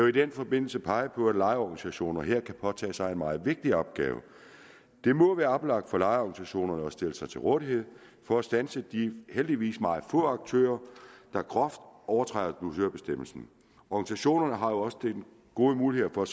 i den forbindelse pege på at lejeorganisationer her kan påtage sig en meget vigtig opgave det må være oplagt for lejeorganisationerne at stille sig til rådighed for at standse de heldigvis meget få aktører der groft overtræder dusørbestemmelsen organisationerne har jo også gode muligheder for at